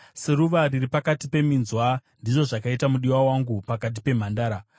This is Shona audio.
Seruva riri pakati peminzwa, ndizvo zvakaita mudiwa wangu pakati pemhandara.